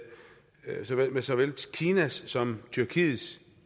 med såvel kinas som tyrkiets